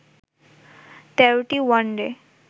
১৩টি ওয়ানডে